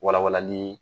Walawalanli